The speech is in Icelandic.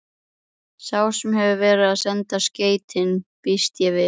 Sá sem hefur verið að senda skeytin. býst ég við.